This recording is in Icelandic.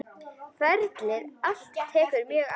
Ferlið allt tekur mörg ár.